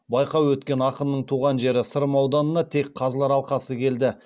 байқау өткен ақынның туған жері сырым ауданына тек қазылар алқасы келді